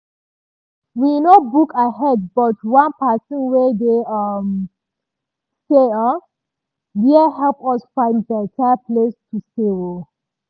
we no book ahead but one person wey dey um stay um dere help us find better place to stay. um